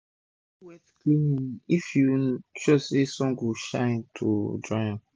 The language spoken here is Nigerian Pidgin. do wet cleaning if u dey sure say sun go shine to dry am